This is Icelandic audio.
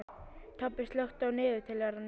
Tobbi, slökktu á niðurteljaranum.